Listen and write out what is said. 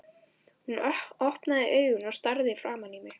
Hún opnaði augun og starði framan í mig.